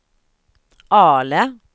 Ale